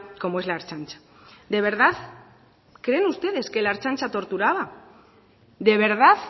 como es la ertzaintza de verdad creen ustedes que la ertzantza torturaba de verdad